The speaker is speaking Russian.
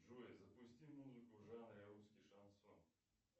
джой запусти музыку в жанре русский шансон